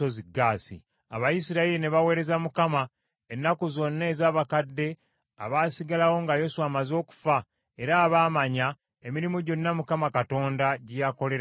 Abayisirayiri ne baweereza Mukama ennaku zonna ez’abakadde abaasigalawo nga Yoswa amaze okufa era abaamanya emirimu gyonna Mukama Katonda gye yakolera Isirayiri.